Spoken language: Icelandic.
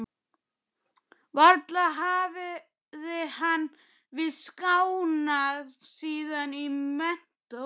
Varla hafði hann víst skánað síðan í menntó.